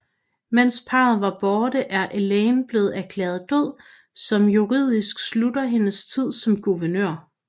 Mens parret var borte er Elaine blev erklæret død som juridisk slutter hendes tid som guvernør